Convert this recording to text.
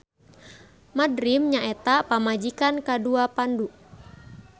Madrim nyaeta pamajikan kadua Pandu.